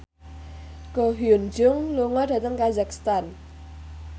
Ko Hyun Jung lunga dhateng kazakhstan